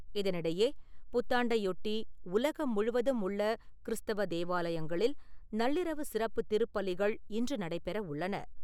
இதனிடையே, புத்தாண்டையொட்டி, உலகம் முழுவதும் உள்ள கிறிஸ்தவ தேவாலயங்களில் நள்ளிரவு சிறப்பு திருப்பலிகள் இன்று நடைபெற உள்ளன.